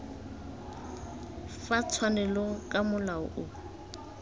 fa tshwanelong ka molao o